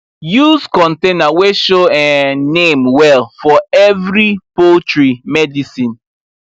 use container wey show um name well for every poultry medicine